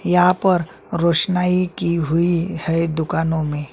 यहाँ पर रोशनाई की हुई है दुकानों में--